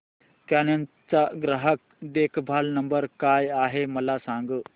canon चा ग्राहक देखभाल नंबर काय आहे मला सांग